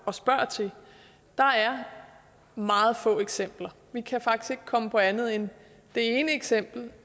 og spurgte til der er meget få eksempler vi kan faktisk komme på andet end det ene eksempel